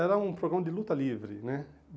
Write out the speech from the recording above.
Era um programa de luta livre, né?